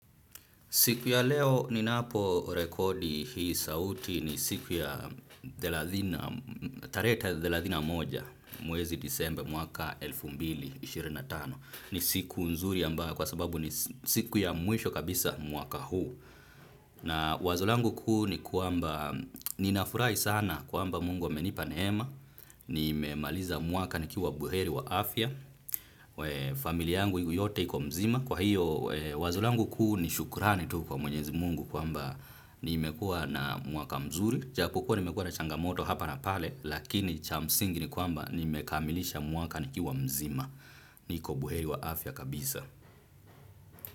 Siku ya leo ninapo rekodi hii sauti ni siku ya thelathini na moja mwezi disemba mwaka elfu mbili na ishirini na tano ni siku nzuri ambayo kwa sababu ni siku ya mwisho kabisa mwaka huu. Na wazo langu kuu ni kwamba ninafurahi sana kwamba mungu amenipa nehema, nimemaliza mwaka nikiwa buheri wa afya, familia yangu yote iko mzima. Kwa hiyo wazo langu kuu ni shukurani tu kwa mwenyezi mungu kwamba nimekua na mwaka mzuri, ijapo kuwa nimekua na changamoto hapa na pale, lakini cha msingi ni kwamba nimekamilisha mwaka nikiwa mzima, niko buheri wa afya kabisa.